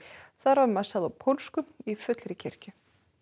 þar var messað á pólsku í fullri kirkju